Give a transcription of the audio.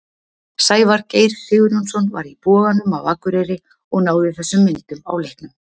Sævar Geir Sigurjónsson var í Boganum á Akureyri og náði þessum myndum á leiknum.